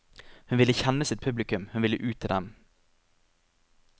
Hun ville kjenne sitt publikum, hun ville ut til dem.